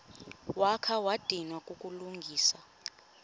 wakha wadinwa kukulungisa